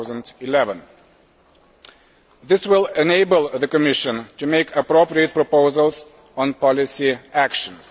2011. This will enable the Commission to make appropriate proposals on policy actions.